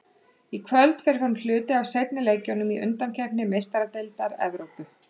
Í kvöld fer fram hluti af seinni leikjunum í undankeppni Meistaradeildar Evrópu.